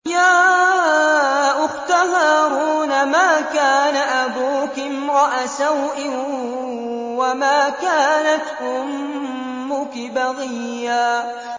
يَا أُخْتَ هَارُونَ مَا كَانَ أَبُوكِ امْرَأَ سَوْءٍ وَمَا كَانَتْ أُمُّكِ بَغِيًّا